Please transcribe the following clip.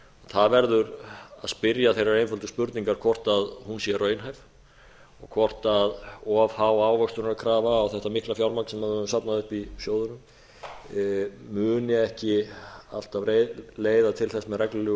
það verður að spyrja þeirrar einföldu spurningar hvort hún sé raunhæf og hvort of há ávöxtunarkrafa á þetta mikla fjármagn sem við höfum safnað upp í sjóðunum muni ekki alltaf leiða til þess með reglulegu